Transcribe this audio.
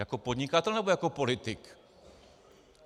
Jako podnikatel, nebo jako politik?